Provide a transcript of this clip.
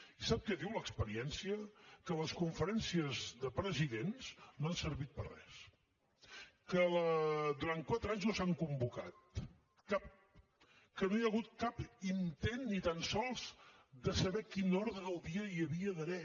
i sap què diu l’experiència que les conferències de presidents no han servit per a res que durant quatre anys no s’han convocat cap que no hi ha hagut cap intent ni tan sols de saber quin ordre del dia hi havia d’haver